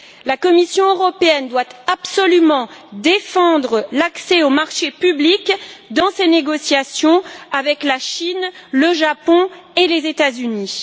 La Commission européenne doit absolument défendre l'accès aux marchés publics dans ses négociations avec la Chine, le Japon et les États Unis.